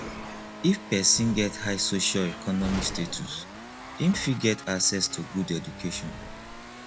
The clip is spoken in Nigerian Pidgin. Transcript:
if persin get high socioeconomic status im fit get access to good education